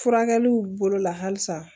Furakɛliw bolo la halisa